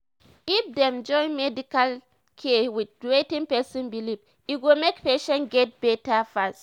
if dem join medical care with wetin person believe e go make patient get better fast